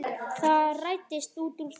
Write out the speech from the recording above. Það rættist úr þessu.